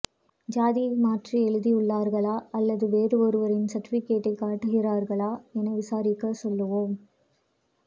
ஜாதியை மாற்றி எழுதியுள்ளார்களா அல்லது வேறு ஒருவரின் சர்டிபிகேட்டை காட்டுகிறார்களா என விசாரிக்க சொல்வோம்